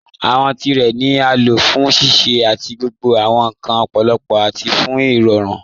Awọn tirẹ ni a lo fún ṣíṣẹ̀ àti gbogbo awọn nkan lọ́pọlọ́pọ̀ àti fún irọ̀rùn.